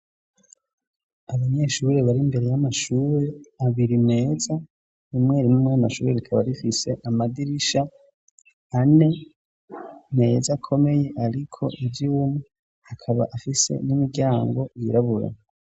Abanyeshure bari mbere y'amashuri abiri meza ,rimwe rimwe murayo mashuri rikaba rifise amadirisha ane meza komeye ariko ivyuma ,akaba afise n'imiryango yirabura.